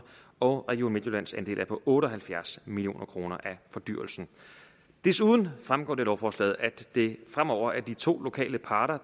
og region midtjyllands andel er på otte og halvfjerds million kroner af fordyrelsen desuden fremgår det af lovforslaget at det fremover er de to lokale parter